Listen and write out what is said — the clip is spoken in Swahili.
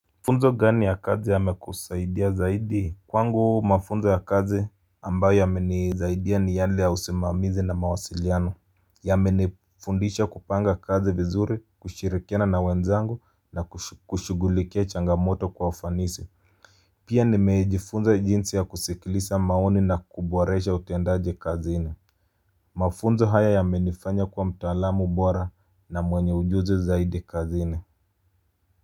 Mafunzo gani ya kazi yamekusaidia zaidi? Kwangu mafunzo ya kazi ambayo yamenisaidia ni yale ya usimamizi na mawasiliano yamenifundisha kupanga kazi vizuri kushirikiana na wenzangu na kushugulikia changamoto kwa ufanisi pia nimejifunza jinsi ya kusikiliza maoni na kuboresha utendaje kazini mafunzo haya yamenifanya kuwa mtaalamu bora na mwenye ujuzi zaidi kazini.